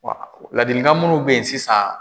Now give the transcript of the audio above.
Wa ladilikan minnu bɛ yen sisan.